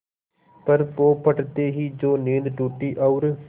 पर पौ फटते ही जो नींद टूटी और